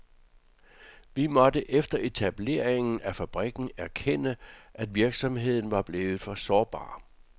Vi måtte efter etableringen af fabrikken erkende, at virksomheden var blevet for sårbar.